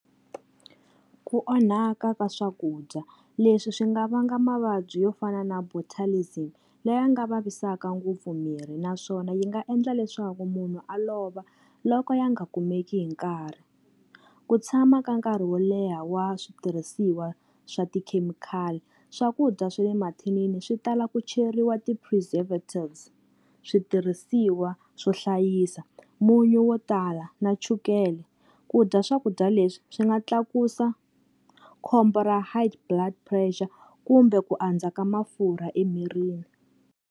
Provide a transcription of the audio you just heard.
Ku onhaka ka swakudya, leswi swi nga vanga mavabyi yo fana na Botulism leyi nga vavisaka ngopfu miri naswona yi nga endla leswaku munhu a lova loko ya nga kumeki hi nkarhi. Ku tshama ka nkarhi wo leha wa switirhisiwa swa tikhemikhali, swakudya swa le mathinini swi tala ku cheriwa ti-preservatives switirhisiwa swo hlayisa, munyu wo tala na chukele. Ku dya swakudya leswi swi nga tlakusa khombo ra High Blood Pressure kumbe ku andza ka mafurha emirini.